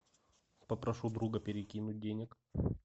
попрошу друга перекинуть денег